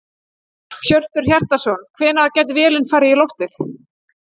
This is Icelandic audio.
Hjörtur Hjartarson: Hvenær gæti vélin farið í loftið?